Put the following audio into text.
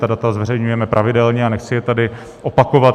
Ta data zveřejňujeme pravidelně a nechci je tady opakovat.